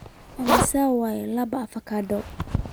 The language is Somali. Immisa waa laba avokado?